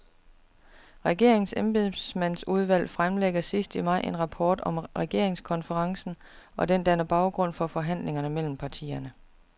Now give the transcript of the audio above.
Regeringens embedsmandsudvalg fremlægger sidst i maj en rapport om regeringskonferencen, og den danner baggrund for forhandlingerne mellem partierne.